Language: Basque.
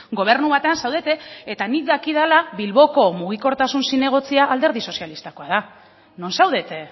gobernu batean zaudete eta nik dakidala bilboko mugikortasun zinegotzia alderdi sozialistakoa da non zaudete